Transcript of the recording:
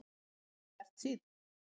Alltaf bjartsýnn!